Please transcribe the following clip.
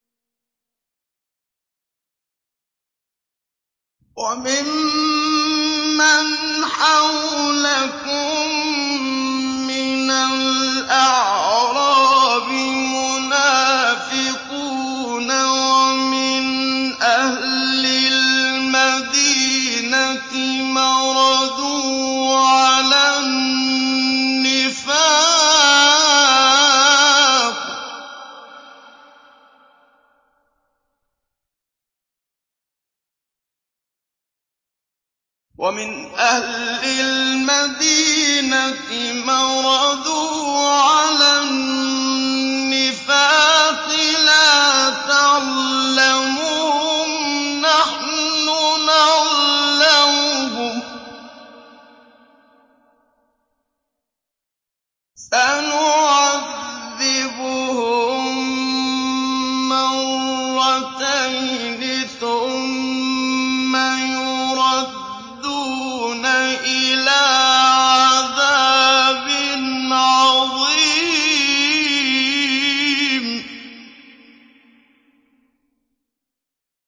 وَمِمَّنْ حَوْلَكُم مِّنَ الْأَعْرَابِ مُنَافِقُونَ ۖ وَمِنْ أَهْلِ الْمَدِينَةِ ۖ مَرَدُوا عَلَى النِّفَاقِ لَا تَعْلَمُهُمْ ۖ نَحْنُ نَعْلَمُهُمْ ۚ سَنُعَذِّبُهُم مَّرَّتَيْنِ ثُمَّ يُرَدُّونَ إِلَىٰ عَذَابٍ عَظِيمٍ